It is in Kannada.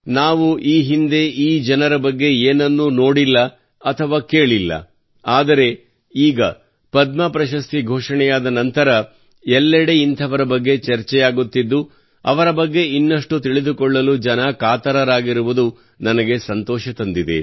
ನಾವು ಈ ಹಿಂದೆ ಈ ಜನರ ಬಗ್ಗೆ ಏನನ್ನೂ ನೋಡಿಲ್ಲ ಅಥವಾ ಕೇಳಿಲ್ಲ ಆದರೆ ಈಗ ಪದ್ಮ ಪ್ರಶಸ್ತಿ ಘೋಷಣೆಯಾದ ನಂತರ ಎಲ್ಲೆಡೆ ಇಂಥವರ ಬಗ್ಗೆ ಚರ್ಚೆಯಾಗುತ್ತಿದ್ದು ಅವರ ಬಗ್ಗೆ ಇನ್ನಷ್ಟು ತಿಳಿದುಕೊಳ್ಳಲು ಜನ ಕಾತರರಾಗಿರುವುದು ನನಗೆ ಸಂತೋಷ ತಂದಿದೆ